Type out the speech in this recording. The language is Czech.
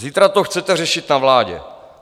Zítra to chcete řešit na vládě.